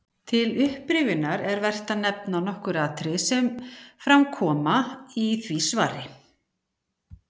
Til upprifjunar er vert að nefna nokkur atriði sem fram koma í því svari.